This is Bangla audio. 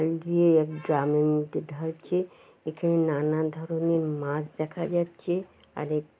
এই গিয়ে ড্রামের মধ্যে ঢালছে এখানে নানা ধরণের মাছ দেখা যাচ্ছে আর এক --